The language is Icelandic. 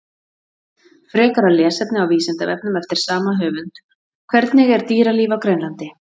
Frekara lesefni á Vísindavefnum eftir sama höfund: Hvernig er dýralíf á Grænlandi?